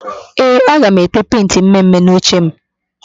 Ee, aga m ete pentị mme mme n'ochem